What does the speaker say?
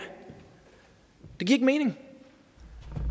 ikke mening